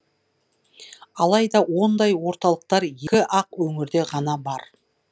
алайда ондай орталықтар екі ақ өңірде ғана бар екен